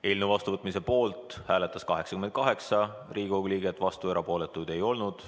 Eelnõu vastuvõtmise poolt hääletas 88 Riigikogu liiget, vastuolijaid ega erapooletuid ei olnud.